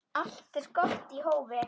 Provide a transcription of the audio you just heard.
Allt er gott í hófi.